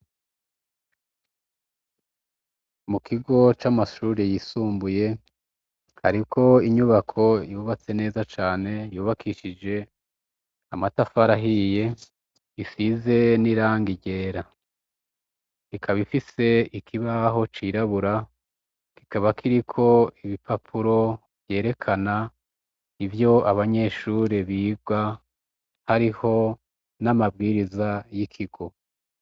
Mu kigo c'amashure yisumbuye hariko inyubako yubatse neza cane yubakishije amatafari ahiye isize n'irangi ryera, ikaba ifise ikibaho cirabura kikaba kiriko ibipapuro vyerekana ivyo abanyeshure biga hariho n'amabwiriza y'ikigo.